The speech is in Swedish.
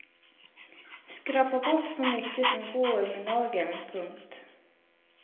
Skrapa bort så mycket som går med nageln. punkt